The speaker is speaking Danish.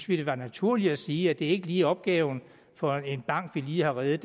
ville være naturligt at sige at det ikke lige opgave for en bank vi lige har reddet